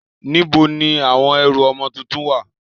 Níbo ni àwọn ẹrù ọmọ tuntun ń wà?